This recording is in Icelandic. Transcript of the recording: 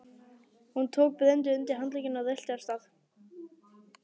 Hann tók Bröndu undir handlegginn og rölti af stað.